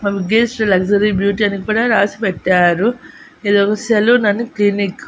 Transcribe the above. ఆ Mugesh luxury beauty అని కూడా రాసి పెట్టారు ఇది ఒక సెలూన్ అండ్ క్లినిక్ .